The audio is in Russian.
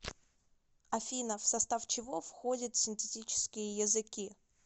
афина в состав чего входит синтетические языки